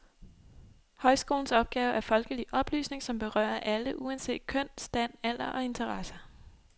Højskolens opgave er folkelig oplysning, som berører alle uanset køn, stand, alder og interesser.